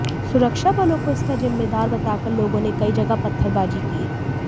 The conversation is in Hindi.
सुरक्षाबलों को इसका जिम्मेदार बताकर लोगों ने कई जगह पत्थरबाजी की